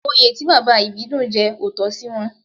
Oyè tí Bàbá Ìbídùn jẹ ò tọ́ sí wọn